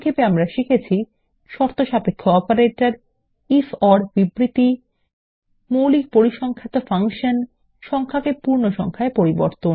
সংক্ষেপে আমরা শিখেছি শর্তসাপেক্ষ অপারেটরের আইএফ ওর বিবৃতি মৌলিক পরিসংখ্যাত ফাংশন সংখ্যাকে পুর্ণসংখায় পরিবর্তন